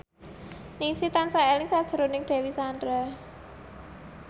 Ningsih tansah eling sakjroning Dewi Sandra